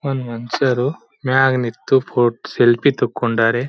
ಒಂದ್ ಮನ್ಸರು ಮ್ಯಾಗ್ ನಿತ್ತು ಫೋಟ್ ಸೆಲ್ಫಿ ತಕೊಂಡರೆ.